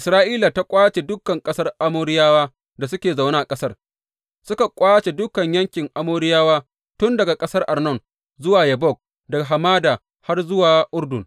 Isra’ila ta ƙwace dukan ƙasar Amoriyawa da suke zaune a ƙasar, suka ƙwace dukan yankin Amoriyawa tun daga ƙasar Arnon zuwa Yabbok, daga hamada har zuwa Urdun.